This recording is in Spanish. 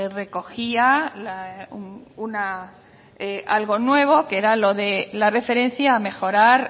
recogía algo nuevo que era lo que la referencia a mejorar